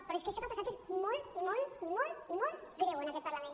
però és que això que ha passat és molt i molt i molt greu en aquest parlament